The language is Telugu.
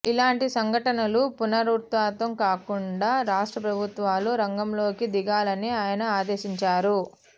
ఇలాంటి సంఘటనలు పునరావృతం కాకుండా రాష్ట్ర ప్రభుత్వాలు రంగంలోకి దిగాలని ఆయన ఆదేశించారు